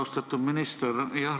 Austatud minister!